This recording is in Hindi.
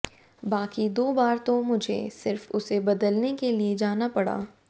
बाकी दो बार तो मुझे सिर्फ उसे बदलने के लिए जाना पड़ा